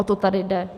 O to tady jde.